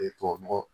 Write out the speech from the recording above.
tubabu nɔgɔ